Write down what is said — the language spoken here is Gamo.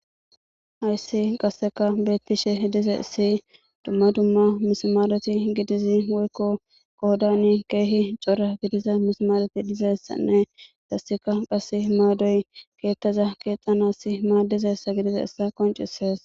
Hayssi qasseka beettishe hidize ssi dumma dumma mismaaleti gidizi woykko qohodani keehi cora gidiza misamaaleti dizessanne dassika qase maadoy keettaza keexxanas maadize ssa gidize essa qoncisees.